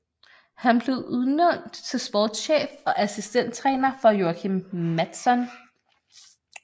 Han blev udnævnt til sportschef og assistenttræner for Joakim Mattsson